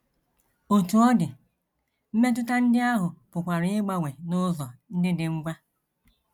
Otú ọ dị, mmetụta ndị ahụ pụkwara ịgbanwe n’ụzọ ndị dị ngwa.